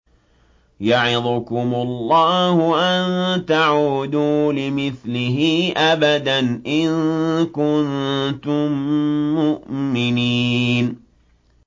يَعِظُكُمُ اللَّهُ أَن تَعُودُوا لِمِثْلِهِ أَبَدًا إِن كُنتُم مُّؤْمِنِينَ